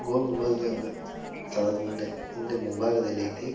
ಗೋಲಗುಂಬಜ್ ಅಲ ಸ್ಥಳದ ಮುಂದೆ ಮುಂದೆ ಮುಂಭಾಗದಲ್ಲಿ ಐತಿ.